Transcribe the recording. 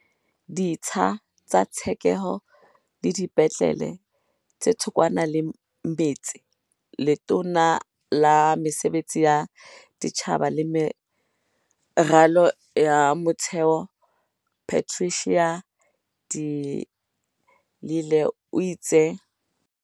Ditsha tsa tshekeho le dipetlele tse thokwana le metse Letona la Mesebetsi ya Setjhaba le Meralo ya Motheo Patricia de Lille o itse.